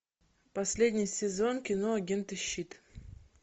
последний сезон кино агенты щит